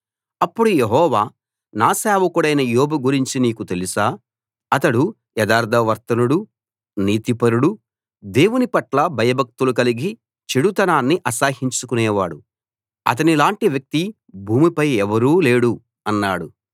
అప్పుడు యెహోవా నా సేవకుడైన యోబు గురించి నీకు తెలుసా అతడు యథార్థ వర్తనుడు నీతిపరుడు దేవుని పట్ల భయభక్తులు కలిగి చెడుతనాన్ని అసహ్యించుకునేవాడు అతనిలాంటి వ్యక్తి భూమిపై ఎవ్వరూ లేడు అన్నాడు